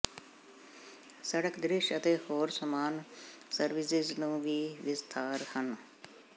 ਸੜਕ ਦ੍ਰਿਸ਼ ਅਤੇ ਹੋਰ ਸਮਾਨ ਸਰਵਿਸਿਜ਼ ਨੂੰ ਵੀ ਵਿਸਥਾਰ ਹਨ